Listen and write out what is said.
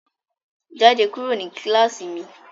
Jáde kúrò ní kíláàsì mi!